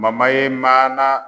ye maana